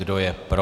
Kdo je pro?